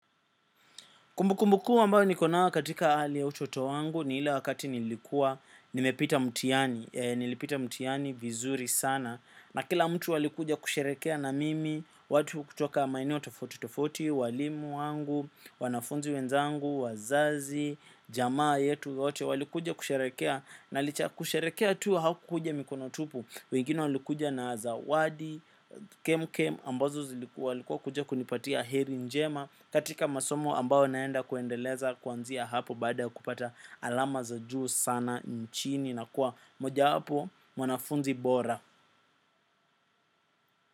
Kumbukumbu kuu ambayo niko nayo katika hali ya utoto wangu ni ile wakati nilikuwa nimepita mtihani, nilipita mtihani vizuri sana. Na kila mtu alikuja kusherekea na mimi, watu kutoka maeneo tofauti tofauti, walimu wangu, wanafunzi wenzangu, wazazi, jamaa yetu yote. Walikuja kusherekea na licha ya kusherekea tuu hawakuja mikono tupu. Wengine walikuja na za wadi, kem kem, ambazo zilikuwa walikuwa kuja kunipatia heri njema katika masomo ambao naenda kuendeleza kuanzia hapo. Baada ya kupata alama za juu sana nchini na kuwa mojawapo mwanafunzi bora.